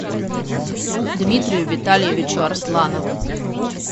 дмитрию витальевичу арсланову